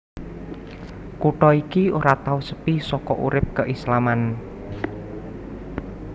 Kutha iki ora tau sepi saka urip keislaman